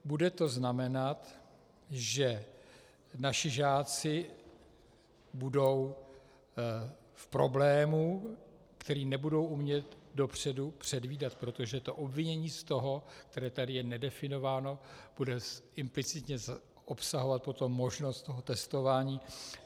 Bude to znamenat, že naši žáci budou v problému, který nebudou umět dopředu předvídat, protože to obvinění z toho, které tady je nedefinováno, bude implicitně obsahovat potom možnost toho testování.